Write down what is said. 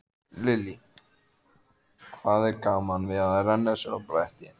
Lillý: Hvað er gaman við að renna sér á bretti?